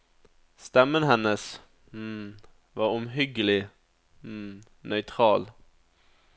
Stemmen hennes var omhyggelig nøytral.